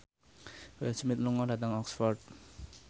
Will Smith lunga dhateng Oxford